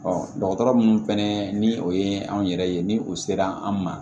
dɔgɔtɔrɔ minnu fɛnɛ ni o ye anw yɛrɛ ye ni u sera an ma